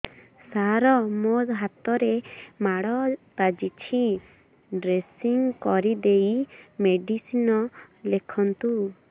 ସାର ମୋ ହାତରେ ମାଡ଼ ବାଜିଛି ଡ୍ରେସିଂ କରିଦେଇ ମେଡିସିନ ଲେଖନ୍ତୁ